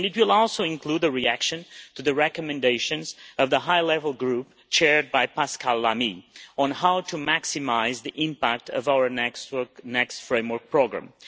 It will also include a reaction to the recommendations of the High Level Group, chaired by Pascal Lamy, on how to maximise the impact of our next framework programme.